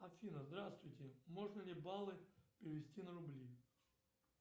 афина здравствуйте можно ли баллы перевести на рубли